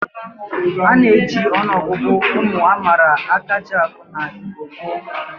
A na-eji ọnụọgụgụ ụmụ a mara akajiakụ n'Igbo gboo.